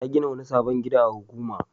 Ta gina wani sabon gida a Huguma.